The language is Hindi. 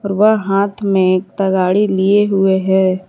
वह हाथ में एक तगाड़ी लिए हुए है।